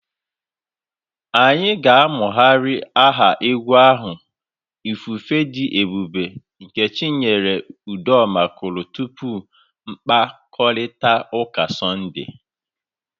Anyị ga na-amụgharị aha egwu ahụ 'ifufe dị ebube' nke Chinyere Udoma kụrụ tupu mkpakọrịta ụka Sọnde.